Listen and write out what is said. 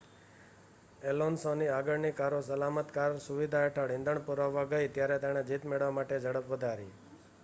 એલોન્સોની આગળની કારો સલામત કાર સુવિધા હેઠળ ઇંધણ પુરાવવા ગઈ ત્યારે તેણે જીત મેળવવા માટે ઝડપ વધારી